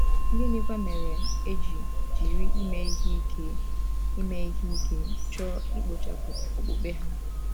Gịnịkwa mere e ji jiri ime ihe ike ime ihe ike chọọ ikpochapụ okpukpe ha?